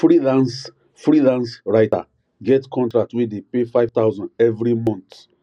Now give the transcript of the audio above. freelance freelance writer get contract wey dey pay 5000 every month